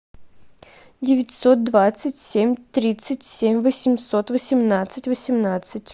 девятьсот двадцать семь тридцать семь восемьсот восемнадцать восемнадцать